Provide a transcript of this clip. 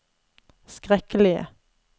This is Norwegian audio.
skrekkelige